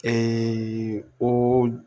o